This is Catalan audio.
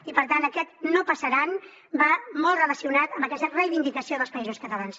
i per tant aquest no passaran va molt relacionat amb aquesta reivindicació dels països catalans